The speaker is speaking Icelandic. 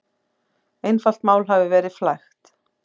Einfalt mál hafi verið flækt.